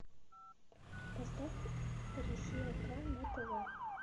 поставь россия к на тв